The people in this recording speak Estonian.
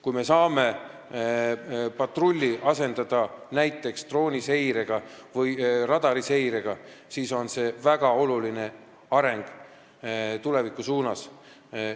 Kui me saame patrulli asendada näiteks drooniseire või radariseirega, siis on see väga oluline areng tuleviku suunas.